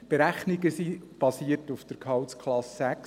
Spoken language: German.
Die Berechnung basiert auf Gehaltsklasse 6.